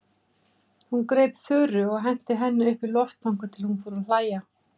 Hún greip Þuru og henti henni upp í loft þangað til hún fór að hlæja.